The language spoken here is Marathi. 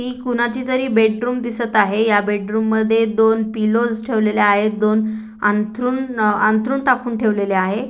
ही कोणाचीतरी बेडरूम दिसत आहे या बेडरूम मध्ये दोन पिलोस् ठेवलेल्या आहेत दोन अंथरूण अ अंथरूण टाकून ठेवलेले आहे.